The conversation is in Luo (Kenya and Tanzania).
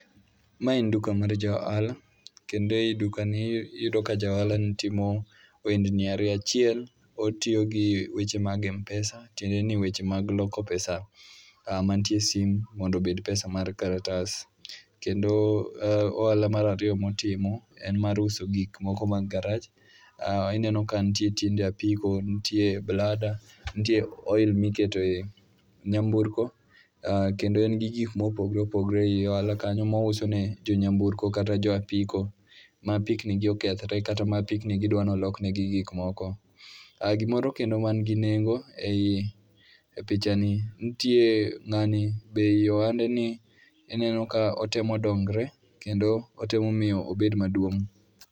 Ma en duka mar ja ohala kendo e dukani iyudo ka ja ohalani timo ohend ni ariyo. Achiel otiyo gi weche mag mpesa tiende ni weche mag loko pesa mantie e simu mondo obed pesa mar kalatas. Kendo ohala mar ariiyo motimo en mar uso gik moko mag garaj. Ineno ka nitie tiende apiko, nitie blada, nitie oil miketo ei nyamburko kendo en gi gik mopogore opogore ei ohala kanyo mouso e jo nyamburko to kata jo apiko. Ma apikni gi okethre kata ma apiknigi dwa ni olok negi gik moko. Gimoro kendo man gi nengo ei pichani, nitie ng'ani be i ohandeni ineno ka otemo dongre kendo otemo miyo obed maduong'.